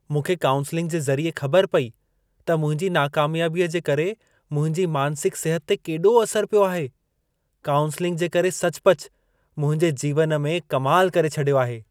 मूंखे काउन्स्लिंग जे ज़रिए ख़बर पई त मुंहिंजी नाकामयाबीअ जे करे मुंहिंजी मानसिक सिहत ते केॾो असर पियो आहे। काउन्स्लिंग जे करे सचुपचु मुंहिंजे जीवन में कमाल करे छॾियो आहे।